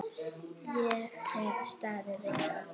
Ég hef staðið við það.